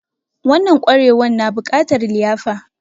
Wanan ƙwarewan na bukatar liyafa